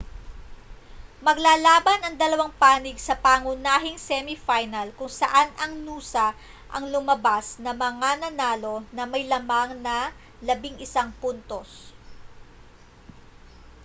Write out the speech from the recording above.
maglalaban ang dalawang panig sa pangunahing semi final kung saan ang noosa ang lumabas na mga nanalo na may lamang na 11 puntos